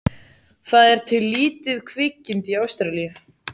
Það er til lítið kvikindi í Ástralíu.